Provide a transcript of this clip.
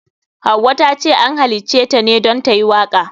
Hauwa tace an halitaceta ne don tayi waka.